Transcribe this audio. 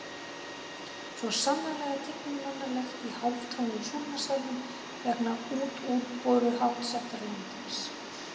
Svo sannarlega tiginmannlegt í hálftómum Súlnasalnum vegna útúrboruháttar landans.